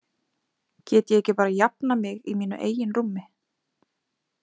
Get ég ekki bara jafnað mig í mínu eigin rúmi?